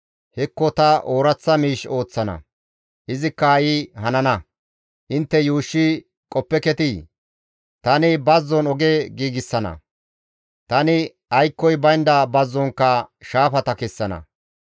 Hekko ta ooraththa miish ooththana; izikka ha7i hanana; intte yuushshi qoppeketii? Tani bazzon oge giigsana; tani aykkoy baynda bazzonkka shaafata kessana.